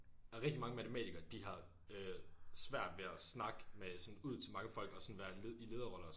Der rigtig mange matematikere de har øh svært ved at snakke med sådan ud til mange folk og sådan være i lederroller og sådan noget